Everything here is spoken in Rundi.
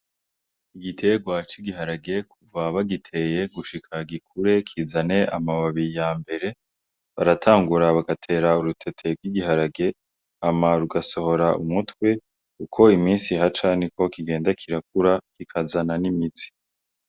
Igiterwa c'igiharage kuva bagiteye gushika gikure kizane amababi yambere baratangura bagatera urutete rw'igiharage rugasohora umutwe uko imisi ihaca niko kigenda kirakura kikazana n'imizi.